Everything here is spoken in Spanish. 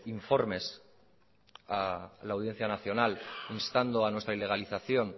informes a la audiencia nacional instando a nuestra ilegalización